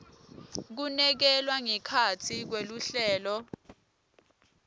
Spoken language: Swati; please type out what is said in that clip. kunekelwa ngekhatsi kweluhlelo